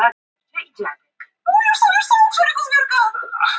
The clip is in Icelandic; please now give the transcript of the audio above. Guðjón Helgason: Þannig að þú ferð að skipuleggja slíka fundi þá núna í framhaldinu?